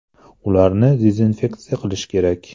Ularni dezinfeksiya qilish kerak”.